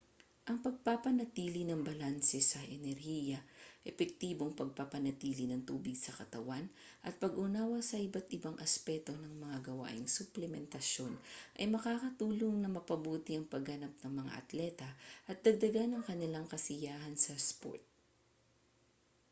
ang pagpapanatili ng balanse sa enerhiya epektibong pagpapanatili ng tubig sa katawan at pag-unawa sa iba't ibang aspeto ng mga gawaing suplementasyon ay makakatulong na mapabuti ang pagganap ng mga atleta at dagdagan ang kanilang kasiyahan sa sport